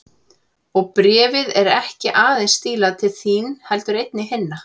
Og bréfið er ekki aðeins stílað til þín heldur einnig til hinna.